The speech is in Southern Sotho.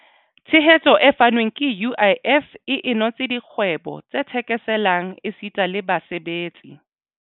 Tshehetso e fanweng ke UIF e inotse dikgwebo tse thekeselang esita le basebetsi.